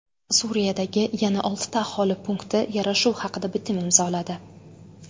Suriyadagi yana oltita aholi punkti yarashuv haqida bitim imzoladi.